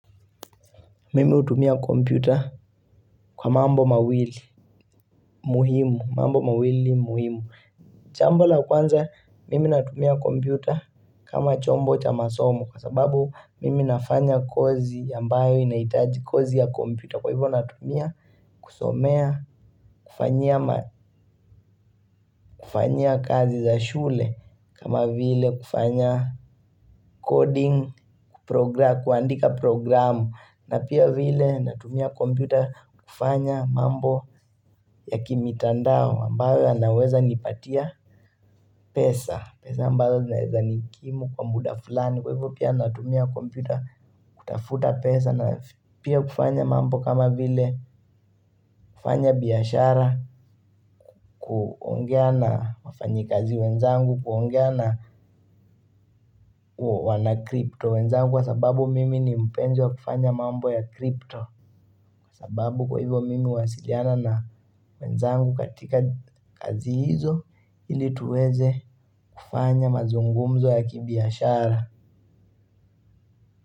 Mimi hutumia kompyuta kwa mambo mawili muhimu. Mambo mawili muhimu jambo la kwanza mimi natumia kompyuta kama chombo cha masomo kwa sababu mimi nafanya kozi ambayo inaitaji kozi ya kompyuta. Kwa hivyo natumia kusomea kufanya kazi za shule kama vile kufanya coding kuandika programu na pia vile natumia kompyuta kufanya mambo ya kimitandao ambayo yanaweza nipatia pesa pesa ambazo zinaeza nikimu kwa muda flani kwa hivyo pia natumia kompyuta kutafuta pesa na pia kufanya mambo kama vile kufanya biashara kuongea na wafanyi kazi wenzangu kuongea na wanakripto wenzangu kwa sababu mimi ni mpenzi wa kufanya mambo ya kripto sababu kwa hivyo mimi huwasiliana na wenzangu katika kazi hizo ili tuweze kufanya mazungumzo ya kibiashara.